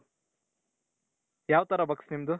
ಯಾವ್ ತರ bugs ನಿಮ್ದು?